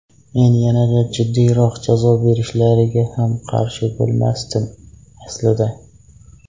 Men yanada jiddiyroq jazo berishlariga ham qarshi bo‘lmasdim, aslida.